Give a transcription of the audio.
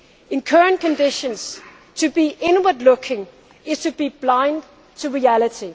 Europe. In current conditions, to be inward looking is to be blind to